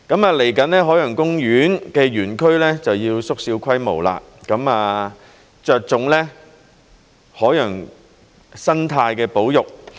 未來海洋公園的園區會縮小規模，着重海洋生態的保育。